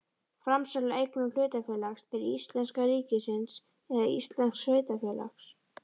Framsal á eignum hlutafélags til íslenska ríkisins eða íslensks sveitarfélags.